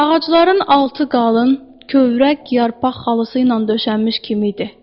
Ağacların altı qalın, kövrək yarpaq xalısı ilə döşənmiş kimi idi.